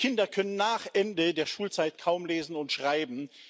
Die Kinder können nach Ende der Schulzeit kaum lesen und schreiben.